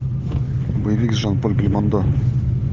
боевик с жан поль бельмондо